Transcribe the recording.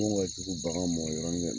An kɔ kugun bagan ma yɔrɔnin de la